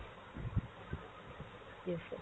yes, sir।